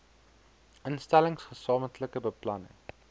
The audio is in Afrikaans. instellings gesamentlike beplanning